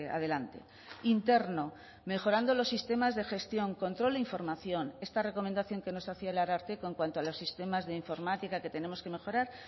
adelante interno mejorando los sistemas de gestión control e información esta recomendación que nos hacía el ararteko en cuanto a los sistemas de informática que tenemos que mejorar